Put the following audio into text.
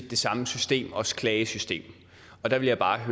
det samme system også klagesystemet der vil jeg bare